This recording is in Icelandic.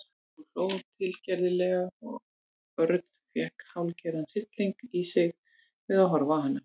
Hún hló tilgerðarlega og Örn fékk hálfgerðan hrylling í sig við að horfa á hana.